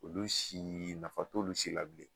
Olu si, nafa t'olu si la bilen.